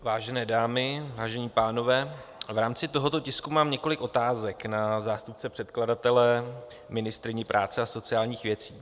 Vážené dámy, vážení pánové, v rámci tohoto tisku mám několik otázek na zástupce předkladatele, ministryni práce a sociálních věcí.